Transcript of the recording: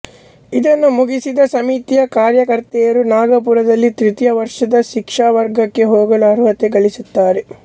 ಇದನ್ನು ಮುಗಿಸಿದ ಸಮಿತಿಯ ಕಾರ್ಯಕರ್ತೆಯರು ನಾಗಪುರದಲ್ಲಿ ತೃತೀಯ ವರ್ಷದ ಶಿಕ್ಷಾವರ್ಗಕ್ಕೆ ಹೋಗಲು ಅರ್ಹತೆ ಗಳಿಸುತ್ತಾರೆ